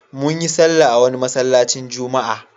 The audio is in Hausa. Mun yi sallah a wani masallacin juma'a.